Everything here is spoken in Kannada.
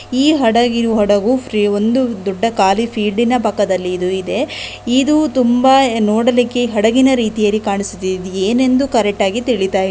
ಈ ಹಡಗಿ ಹಡಗು ಒಂದು ದೊಡ್ಡ ಕಾಲಿ ಫೀಲ್ಡಿನ ಪಕ್ಕದಲ್ಲಿ ಇದು ಇದೆ ಇದು ತುಂಬಾ ನೋಡಲಿಕ್ಕೆ ಹಡಗಿನ ರೀತಿಯಲ್ಲಿ ಕಾಣಿಸುತ್ತಿ ದ್ ದ್ ಇದೇನೆಂದು ಕರೆಕ್ಟ್ ಆಗಿ ತಿಳಿತಾ ಇಲ್ಲ --